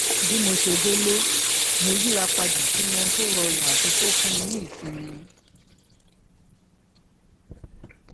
bí mo ṣe délé mo yíra padà sínú ohun tó rọrùn àti tó fún ni ní ìsinmi